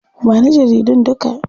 Ba ni jaridun duka.